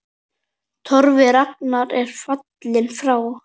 Torfi rakari er fallinn frá.